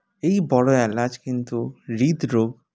এই বড়ো এলাচ কিন্তু হৃদরোগ